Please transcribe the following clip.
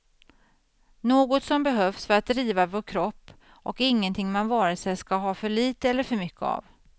Något som behövs för att driva vår kropp och ingenting man vare sig ska ha för lite eller för mycket av.